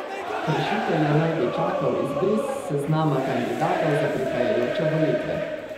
Kršitelje naj bi čakal izbris s seznama kandidatov za prihajajoče volitve.